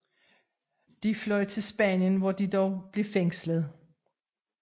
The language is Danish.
De fløj til Spanien hvor de dog blev fængslet